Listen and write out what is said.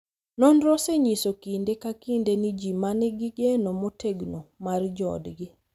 Nonro osenyiso kinde ka kinde ni ji ma nigi geno motegno mar joodgi .